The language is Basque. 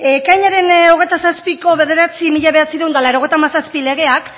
ekainaren hogeita zazpiko bederatzi barra mila bederatziehun eta laurogeita hamazazpi legeak